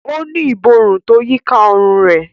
O ni Ìborùn tó yíká òrun rẹ